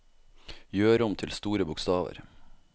Gjør om til store bokstaver